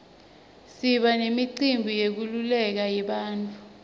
siba nemicimbi yenkululeko yebantfu